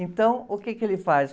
Então, o quê que ele faz?